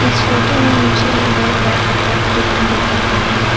इस फोटो में मुझे एक बहोत बड़ा कपड़ा का दुकान दिख रहा है।